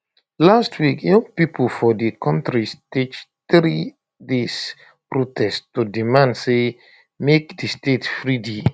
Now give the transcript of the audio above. last week young pipo for di kontri stage 3day protest to demand say make di state free di